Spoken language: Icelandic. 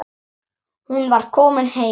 Hún var komin heim.